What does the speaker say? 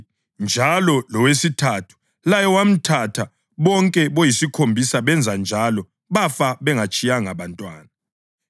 njalo lowesithathu laye wamthatha, bonke boyisikhombisa benza njalo bafa bengatshiyanga bantwana.